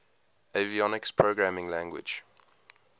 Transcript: avionics programming language